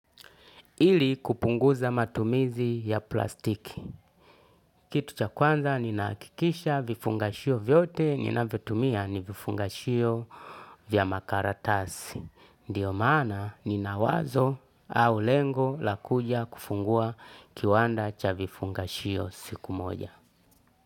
Ili kupunguza matumizi ya plastiki. Kitu cha kwanza ninahakikisha vifungashio vyote, ninavotumia ni vifungashio vya makaratasi. Ndiyo maana nina wazo au lengo la kuja kufungua kiwanda cha vifungashio siku moja.